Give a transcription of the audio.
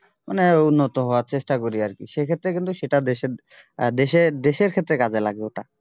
মানে উন্নত হওয়ার চেষ্টা করি আরকি সেই ক্ষেত্রে কিন্তু সেটা দেশের আহ দেশের দেশের ক্ষেত্রে কাজে লাগবে ওটা